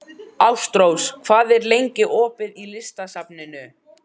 Ástrós, hvað er lengi opið í Listasafninu?